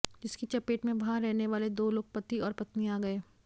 जिसकी चपेट में वहां रहने वाले दो लोग पति और पत्नी आ गये